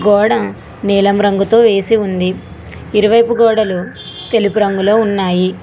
గోడ నీలం రంగుతో వేసి ఉంది ఇరువైపు గోడలు తెలుగు రంగులో ఉన్నాయి.